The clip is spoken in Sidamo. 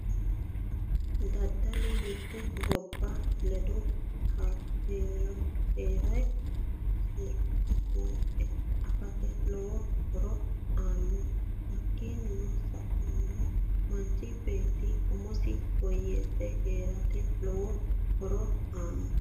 Daddalu mite gobba ledo heeranore seekke buuxe afate lowo horo aano hakiini saenno manchi beeti umosi woyeese heerate lowo horo aano